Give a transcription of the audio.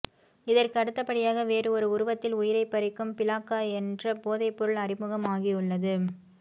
இதற்கு அடுத்த படியாக வேறு ஒரு உருவத்தில் உயிரை பறிக்கும் பிளாக்கா என்ற போதைபொருள் அறிமுகம் ஆகியுள்ளது